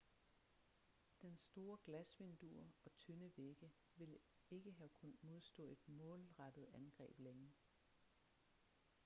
dens store glasvinduer og tynde vægge ville ikke have kunnet modstå et målrettet angreb længe